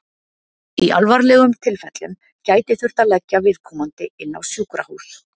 Í alvarlegum tilfellum gæti þurft að leggja viðkomandi inn á sjúkrahús.